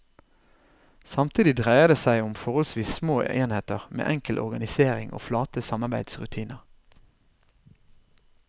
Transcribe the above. Samtidig dreier det seg om forholdsvis små enheter med enkel organisering og flate samarbeidsrutiner.